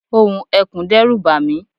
ohùn ekùn dẹ́rù bàmí